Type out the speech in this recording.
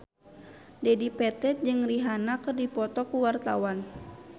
Dedi Petet jeung Rihanna keur dipoto ku wartawan